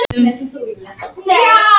Einsýnt að fleiri verði yfirheyrðir